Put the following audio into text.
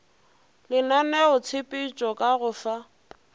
le lenaneotshepetšo ka go fa